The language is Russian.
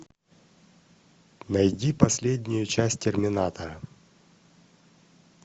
найди последнюю часть терминатора